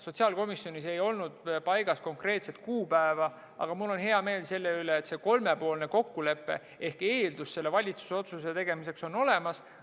Sotsiaalkomisjonis ei olnud paigas konkreetset kuupäeva, aga mul on hea meel selle üle, et see kolmepoolne kokkulepe ehk eeldus valitsuse otsuse tegemiseks on olemas.